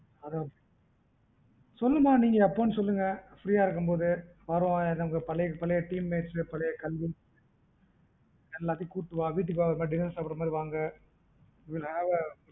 சொல்லுமா நீங்க ஏப்ப னு சொல்லுங்க free ஆ இருக்கும்போது பழைய team mates பழைய கல்வி எல்லாதையும் கூட்டு வாங்க வீட்டுக்கு dinner சாப்புடுற மாறி வாங்க